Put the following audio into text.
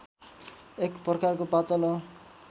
एक प्रकारको पातलो